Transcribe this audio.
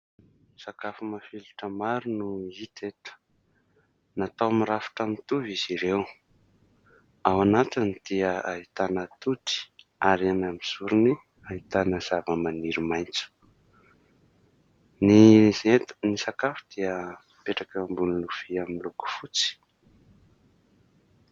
Sakafo mafilotra maro no hita eto. Natao mirafitra mitovy izy ireo. Ao anatiny dia ahitana atody ary eny amin'ny zorony ahitana zavamaniry maitso. Ny izy eto. Ny sakafo dia mipetraka eo ambony lovia miloko fotsy.